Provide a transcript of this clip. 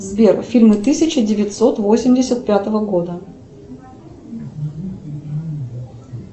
сбер фильмы тысяча девятьсот восемьдесят пятого года